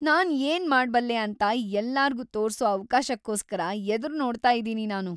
ನಾನ್‌ ಏನ್‌ ಮಾಡ್ಬಲ್ಲೆ ಅಂತ ಎಲ್ಲರ್ಗೂ ತೋರ್ಸೋ ಅವ್ಕಾಶಕ್ಕೋಸ್ಕರ ಎದುರ್ನೋಡ್ತಾ ಇದೀನಿ ನಾನು.